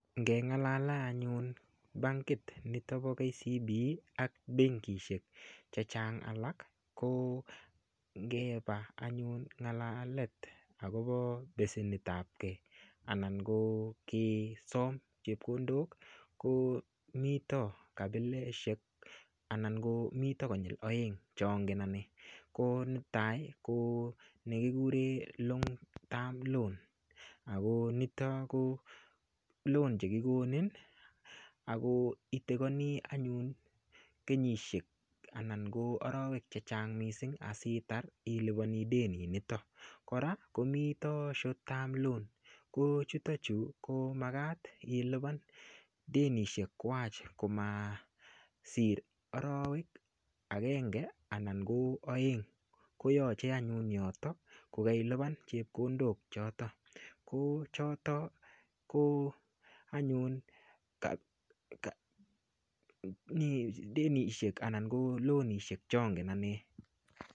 Ngengalale anyun bankit nito po kcb ak benkishek chechang alak ko ngepa anyun ngalalet akopo besenitap kee anan ko kesom chepkondok ko mito kapileshek anan ko mito konyil oeng' chongen ane ko netai ko nekikure long term loan ako nito ko loan chekikonin ako itekoni anyun kenyishek anan ko arowek chechang' mising' asitar ilipani denit nito kora komito short term loan ko chuto chu ko makat ilipan denishek kwach komasir arowek akenge ana ko oeng' koyochei anyun yoto ko kailipan chepkondok choto ko choto ko anyun denishek ana ko loanishek chongen ane